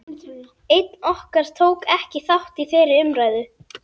Einn okkar tók ekki þátt í þeirri umræðu.